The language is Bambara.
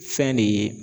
Fɛn de ye